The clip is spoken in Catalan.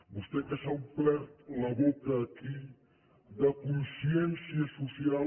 vostè que s’ha omplert la boca aquí de consciència social